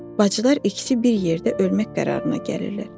Bacılar ikisi bir yerdə ölmək qərarına gəlirlər.